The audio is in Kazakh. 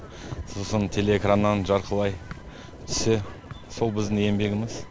сосын телеэкраннан жарқырай түссе сол біздің еңбегіміз